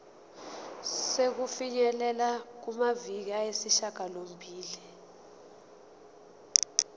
sokufinyelela kumaviki ayisishagalombili